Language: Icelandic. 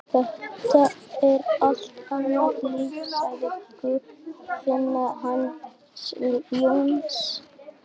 Þetta er allt annað líf, sagði Guðfinna hans Jóns.